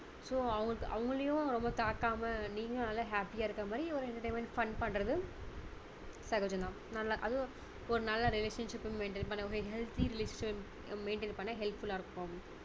so அவங்க~அவங்களையும் தாக்காம நீங்களும் நல்ல happy யா இருக்க மாதிரி ஒரு entertainment fun பண்றது சகஜம் தாம் நல்ல அது ஒரு நல்ல relationship ப maintain பண்ண ஒரு healthy relationship maintain பண்ண helpful லா இருக்கும்